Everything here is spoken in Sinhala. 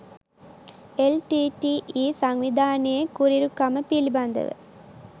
එල්.ටී.ටී.ඊ. සංවිධානයේ කුරිරුකම පිළිබඳව